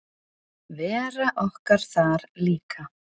Vera okkar þar líka.